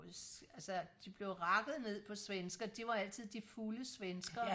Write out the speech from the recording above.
altså de blev rakket ned på svenskere det var altid de fulde svenskere